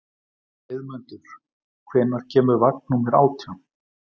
Heiðmundur, hvenær kemur vagn númer átján?